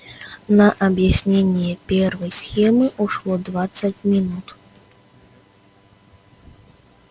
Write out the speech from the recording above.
на объяснение первой схемы ушло двадцать минут